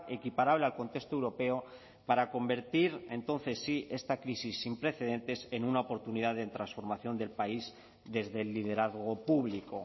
equiparable al contexto europeo para convertir entonces sí esta crisis sin precedentes en una oportunidad de transformación del país desde el liderazgo público